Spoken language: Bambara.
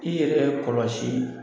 I yɛrɛ kɔlɔsi